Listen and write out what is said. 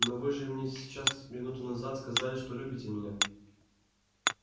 но вы же мне сейчас минуту назад сказали что любите меня